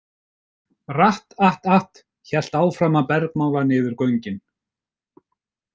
„Rat- at- at“ hélt áfram að bergmála niður göngin.